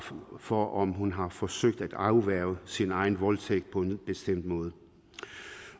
for om hun har forsøgt at afværge sin egen voldtægt på en bestemt måde